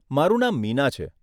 મારું નામ મીના છે.